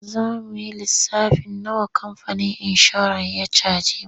Za mu yi lissafin nawa kamfanin inshorar ya caje mu.